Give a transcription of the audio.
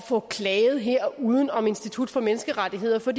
få klaget her uden om institut for menneskerettigheder for